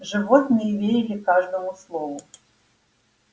животные верили каждому слову